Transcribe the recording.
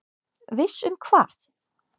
Viss um hvað?